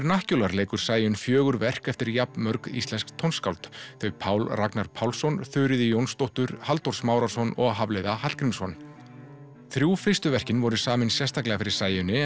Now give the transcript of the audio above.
Vernacular leikur Sæunn fjögur verk eftir jafn mörg íslensk tónskáld þau Pál Ragnar Pálsson Þuríði Jónsdóttur Halldór Smárason og Hafliða Hallgrímsson þrjú fyrstu verkin voru samin sérstaklega fyrir Sæunni